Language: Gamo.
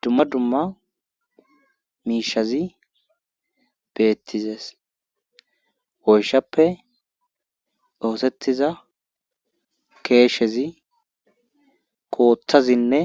Dumma dumma miishazi beettizees oyshappe doosettiza keeshezi kooththazinne